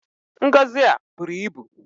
Ngọzị a buru ibu!